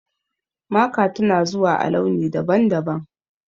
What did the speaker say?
Maka tana zuwa a launi daban-daban.